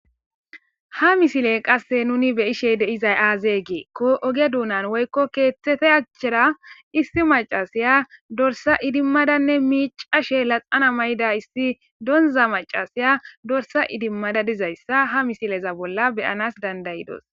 Ha misiley qasse nuuni be7ishe de7izay aazee giikko oge doonan woykko keeththethe achchera isththi maccasiya dorssa idimmadanne miiccashe naxala may7ida issi doonzza maccasiya dorssa idimmada dizayssa ha misileza bolla be7anas dandayi dos.